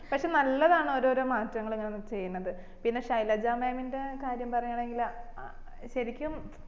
പക്ഷെ നല്ലതാന്ന് ഓരോരോ മാറ്റങ്ങള് ഇങ്ങനെ ഓ ചെയ്യിന്നത് പിന്നെ ശൈലജാ mam ന്റെ കാര്യം പറയാണെങ്കില് ഏർ ശരിക്കും